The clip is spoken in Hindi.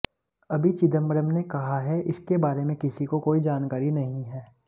अभी चिदंबरम कहा हैं इसके बारे में किसी को कोई जानकारी नहीं है